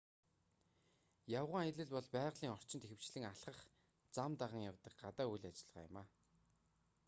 явган аялал бол байгалийн орчинд ихэвчлэн алхах зам даган явдаг гадаа үйл ажиллагаа юм